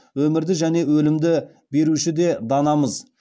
өмірді және өлімді беруші де данамыз